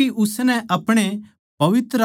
परमेसवर म्ह